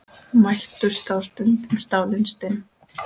Mættust þá stundum stálin stinn.